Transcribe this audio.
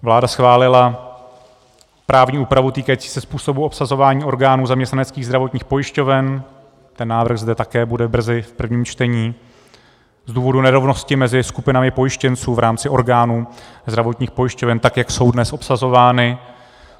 Vláda schválila právní úpravu týkající se způsobu obsazování orgánů zaměstnaneckých zdravotních pojišťoven - ten návrh zde také bude brzy v prvním čtení - z důvodu nerovnosti mezi skupinami pojištěnců v rámci orgánů zdravotních pojišťoven, tak jak jsou dnes obsazovány.